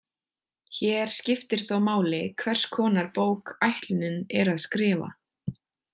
Hér skiptir þó máli hvers konar bók ætlunin er að skrifa.